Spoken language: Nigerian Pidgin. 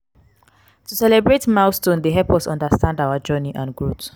to celebrate milestones dey help us understand our journey and growth.